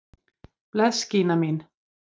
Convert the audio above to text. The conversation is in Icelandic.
Bless Gína mín!